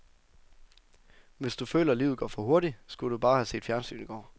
Hvis du føler, livet går for hurtigt, skulle du bare have set fjernsyn i går.